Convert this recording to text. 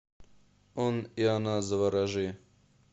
он и она заворожи